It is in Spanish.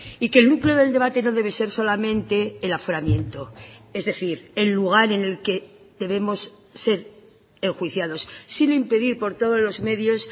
y que el núcleo del debate no debe ser solamente el aforamiento es decir el lugar en el que debemos ser enjuiciados sino impedir por todos los medios